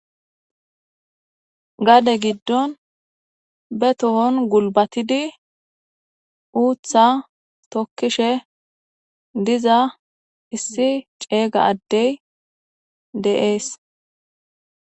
Gade giddon be tohon gulbatidi uuththa tokkishe diza issi ceega addey de'es.